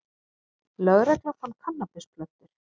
Lögregla fann kannabisplöntur